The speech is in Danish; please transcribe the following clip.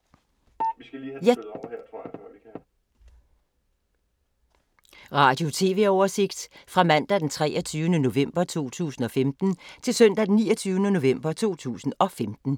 Radio/TV oversigt fra mandag d. 23. november 2015 til søndag d. 29. november 2015